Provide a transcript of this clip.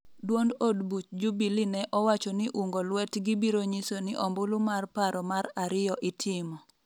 duond od buch Jubilee ne owacho ni ungo lwetgi biro nyiso ni ombulu mar paro mar ariyo itimo